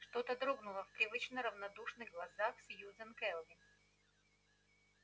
что-то дрогнуло в привычно равнодушных глазах сьюзен кэлвин